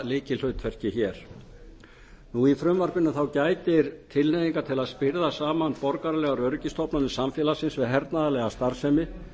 lykilhlutverki hér í frumvarpinu gætir tilhneigingar til að spyrða saman borgaralegar öryggisstofnanir samfélagsins við hernaðarlega starfsemi